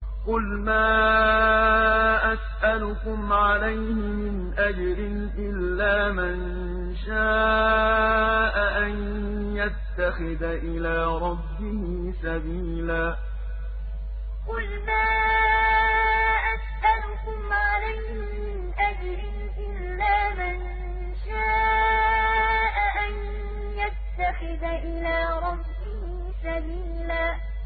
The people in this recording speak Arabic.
قُلْ مَا أَسْأَلُكُمْ عَلَيْهِ مِنْ أَجْرٍ إِلَّا مَن شَاءَ أَن يَتَّخِذَ إِلَىٰ رَبِّهِ سَبِيلًا قُلْ مَا أَسْأَلُكُمْ عَلَيْهِ مِنْ أَجْرٍ إِلَّا مَن شَاءَ أَن يَتَّخِذَ إِلَىٰ رَبِّهِ سَبِيلًا